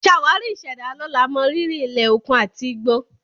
Ṣàwárí ìṣẹ̀dá lọ́la, mọrírì ilẹ̀, òkun, àti igbó.